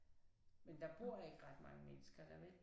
Men der bor ikke ret mange mennesker der vel?